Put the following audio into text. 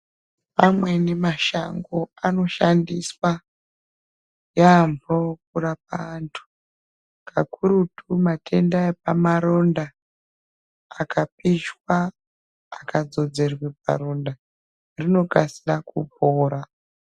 Amweni mashango anoshandiswa yambo kurapa antu kakurutu matenda epamaronda akapisha akadzodzerwa paronda rinokasira kupora.